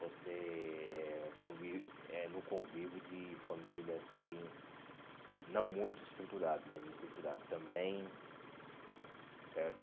você eh conví eh no convívio de família assim, não muito estruturado né, desestruturado também, certo?